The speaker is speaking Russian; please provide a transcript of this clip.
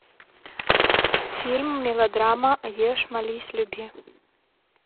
фильм мелодрама ешь молись люби